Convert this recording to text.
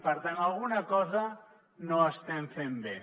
per tant alguna cosa no estem fent bé